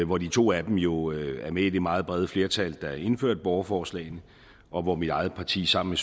hvor de to af dem jo er med i det meget brede flertal der indførte borgerforslagene og hvor mit eget parti sammen